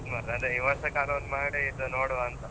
ಹೌದು ಮಾರೆ, ಅದೆ ಈ ವರ್ಷಕ್ಕಾದ್ರು ಒಂದು ಮಾಡಿ ಇದ್ ನೋಡುವಂತ.